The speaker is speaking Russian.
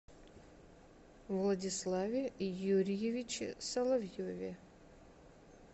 владиславе юрьевиче соловьеве